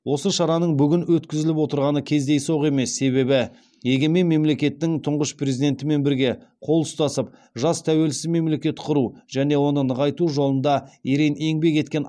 осы шараның бүгін өткізіліп отырғаны кездейсоқ емес себебі егемен мемлекеттің тұңғыш президентімен бірге қол ұстасып жас тәуелсіз мемлекет құру және оны нығайту жолында ерең еңбек еткен